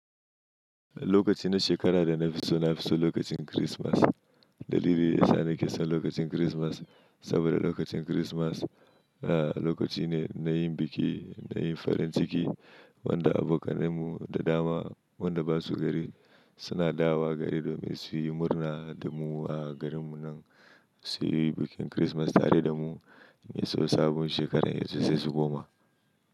Lokaci na shekara da na fi so na fi so lokacin Kirismas. Dalili ya sa ni ke son lokacin Kirismas saboda lokacin Kirismas a lokaci ne na yin biki, na yin farin ciki. Wanda abokanai mu da dama wanda ba su gari suna dawo gari domin su yi murna da mu a garin mu nan su yi bikin Kirismas tare da mu mai so sabon shekarar yazo sai su goma.